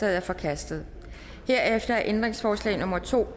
er forkastet herefter er ændringsforslag nummer to